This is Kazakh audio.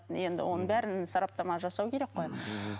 енді оның бәрін сараптама жасау керек қой мхм